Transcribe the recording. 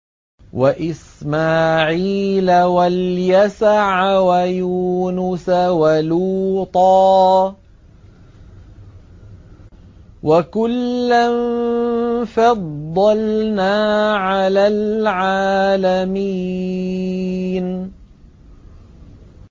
وَإِسْمَاعِيلَ وَالْيَسَعَ وَيُونُسَ وَلُوطًا ۚ وَكُلًّا فَضَّلْنَا عَلَى الْعَالَمِينَ